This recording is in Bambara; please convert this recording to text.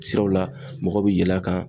Siraw la mɔgɔ bi yɛlɛ a kan.